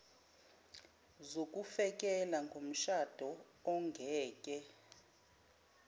zokufekela komshado ongeke